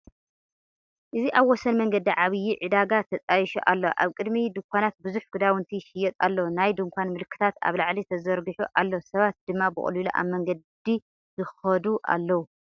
እዚ ኣብ ወሰን መንገዲ ዓብዪ ዕዳጋ ተጣይሹ ኣሎ፤ ኣብ ቅድሚ ድኳናት ብዙሕ ክዳውንቲ ይሽየጥ ኣሎ። ናይ ድኳን ምልክታት ኣብ ላዕሊ ተዘርጊሑ ኣሎ፣ ሰባት ድማ ብቐሊሉ ኣብ መንገዲ ይኸዱ ኣለዉ።